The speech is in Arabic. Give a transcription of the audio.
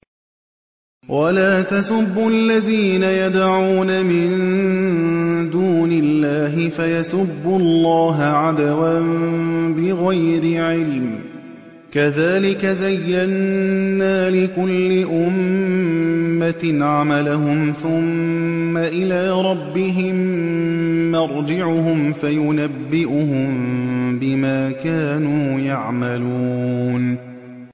وَلَا تَسُبُّوا الَّذِينَ يَدْعُونَ مِن دُونِ اللَّهِ فَيَسُبُّوا اللَّهَ عَدْوًا بِغَيْرِ عِلْمٍ ۗ كَذَٰلِكَ زَيَّنَّا لِكُلِّ أُمَّةٍ عَمَلَهُمْ ثُمَّ إِلَىٰ رَبِّهِم مَّرْجِعُهُمْ فَيُنَبِّئُهُم بِمَا كَانُوا يَعْمَلُونَ